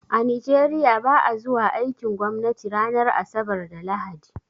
A Nigeriya ba a zuwa aikin gwamnati ranar asabar da lahadi.